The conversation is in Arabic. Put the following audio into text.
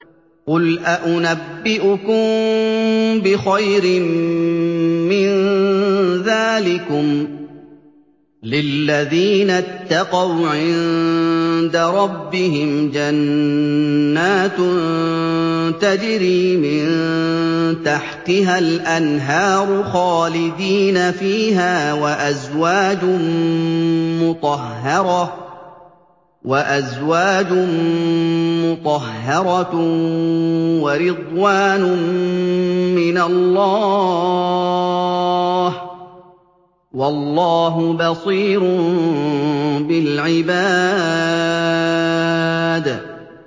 ۞ قُلْ أَؤُنَبِّئُكُم بِخَيْرٍ مِّن ذَٰلِكُمْ ۚ لِلَّذِينَ اتَّقَوْا عِندَ رَبِّهِمْ جَنَّاتٌ تَجْرِي مِن تَحْتِهَا الْأَنْهَارُ خَالِدِينَ فِيهَا وَأَزْوَاجٌ مُّطَهَّرَةٌ وَرِضْوَانٌ مِّنَ اللَّهِ ۗ وَاللَّهُ بَصِيرٌ بِالْعِبَادِ